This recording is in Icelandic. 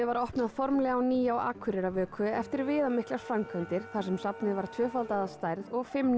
var opnað á á ný á Akureyrarvöku eftir viðamiklar framkvæmdir þar sem safnið var tvöfaldað að stærð og fimm